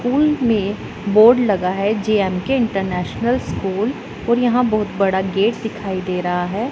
School में board लगा है जे_एम_के इंटरनेशनल स्कूल और यहां बहुत बड़ा गेट दिखाई दे रहा है।